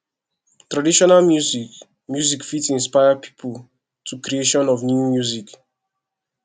traditional music music fit inspire pipo to creation of new music